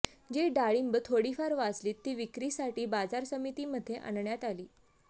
जी डाळिंब थोडीफार वाचलीत ती विक्रीसाठी बाजार समितीमध्ये आणण्यात आली